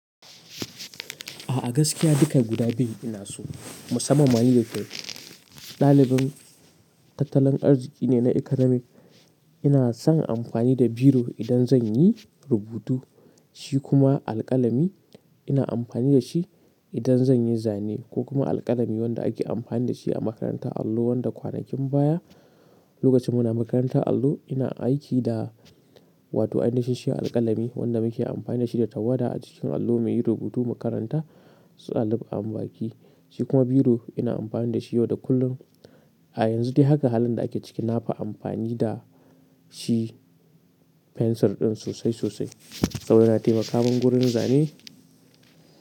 A gaskiya duka guda biyu ina so, musamman ma ni da ke ɗalibin tattallin arziki ne na economy. Ina son amfani da biro idan zan yi rubutu, shi kuma alƙalami ina amfani da shi idan zan yi zane ko kuma alƙalami wanda ake amfani da shi a makaranta allo wanda kwanakin baya lokacin muna makarantar allo ina aiki da, wato ai nihin shi alƙalami wanda muke amfani da shi da tawada a cikin allo muyi rubutu mu makaranta su Alu an baki. Shi kuma biro ina amfani da shi yau da kullum. A yanzu dai haka halin da ake ciki nafi amfani da shi fensir ɗin sosai sosai saboda yana taimaka min wurin zane.